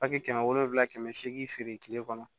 kɛmɛ wolonwula kɛmɛ seegin feere kile kɔnɔ